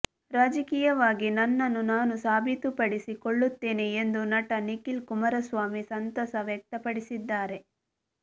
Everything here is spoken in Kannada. ರಾಜಕೀಯವಾಗಿ ನನ್ನನ್ನು ನಾನು ಸಾಬೀತುಪಡಿಸಿಕೊಳ್ಳುತ್ತೇನೆ ಎಂದು ನಟ ನಿಖಿಲ್ ಕುಮಾರಸ್ವಾಮಿ ಸಂತಸ ವ್ಯಕ್ತಪಡಿಸಿದ್ದಾರೆ